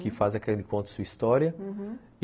Que faz aquele contar sua história, uhum.